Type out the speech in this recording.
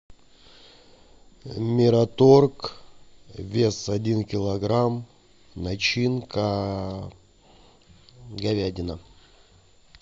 мираторг вес один килограмм начинка говядина